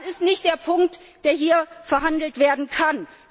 Das ist nicht der Punkt, der hier verhandelt werden kann.